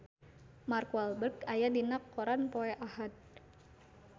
Mark Walberg aya dina koran poe Ahad